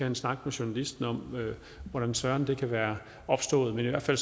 en snak med journalisten om hvordan søren det kan være opstået men i hvert fald